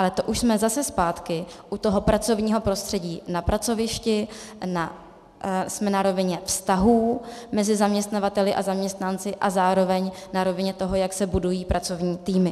Ale to už jsme zase zpátky u toho pracovního prostředí na pracovišti, jsme na rovině vztahů mezi zaměstnavateli a zaměstnanci a zároveň na rovině toho, jak se budují pracovní týmy.